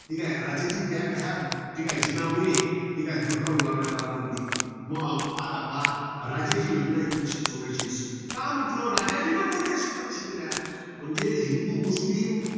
ठीकाय. राजाजी जीनामुळे, ठीकाय धुडकावून लावण्यात आला म्हणते. मग आता पहा, राजाजी योजना एकोणीसशे चौवेचाळीस. का म्हंटल? राजाजीनं कोणत्या शिफारशी केल्या? म्हणजे हिंदू, मुस्लीम